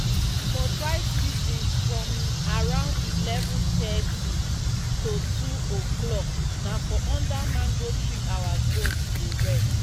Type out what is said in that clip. for dry season from around eleven thirty to two o'clock na for under mango tree out goats dey rest